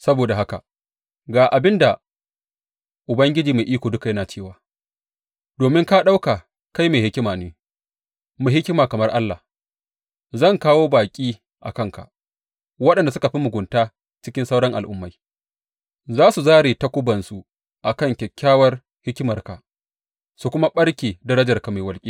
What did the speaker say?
Saboda haka ga abin da Ubangiji Mai Iko Duka yana cewa, Domin ka ɗauka kai mai hikima ne, mai hikima kamar allah, zan kawo baƙi a kanka, waɗanda suka fi mugunta cikin sauran al’ummai; za su zāre takubansu a kan kyakkyawar hikimarka su kuma ɓarke darajarka mai walƙiya.